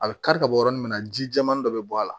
A bɛ kari ka bɔ yɔrɔnin min na ji jɛman dɔ bɛ bɔ a la